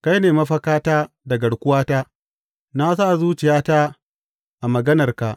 Kai ne mafakata da garkuwata; na sa zuciyata a maganarka.